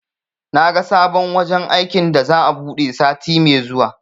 Naga sabon wajen aikin da za'a buɗe sati me zuwa